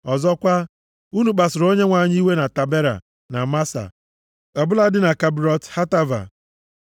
Ọzọkwa, unu kpasuru Onyenwe anyị iwe na Tabera, na Masa, ọ bụladị na Kibrọt Hataava.